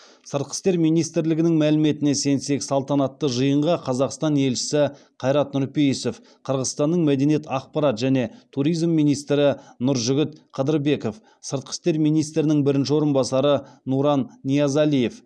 сыртқы істер министрлігінің мәліметіне сенсек салтанатты жиынға қазақстан елшісі қайрат нұрпейісов қырғызстанның мәдениет ақпарат және туризм министрі нұржігіт қыдырбеков сыртқы істер министрінің бірінші орынбасары нуран ниязалиев